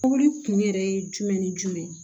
Mobili kun yɛrɛ ye jumɛn ni jumɛn ye